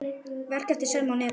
Verk eftir Selmu á netinu